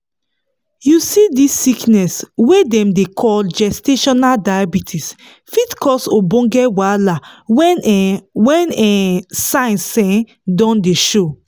you see this sickness wey dem dey call gestational diabetes fit cause ogboge wahala when um when um signs um don dey show